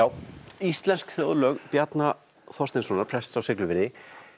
íslensk þjóðlög Bjarna Þorsteinssonar prests á Siglufirði